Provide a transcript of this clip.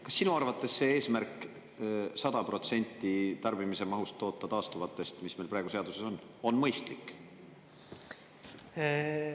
Kas sinu arvates see eesmärk 100% tarbimise mahust toota taastuvatest, nagu meil praegu on seaduses kirjas, on mõistlik?